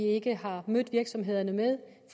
ikke har mødt virksomhederne med